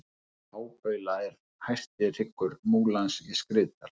hábaula er hæsti hryggur múlans í skriðdal